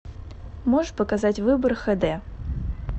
можешь показать выбор хд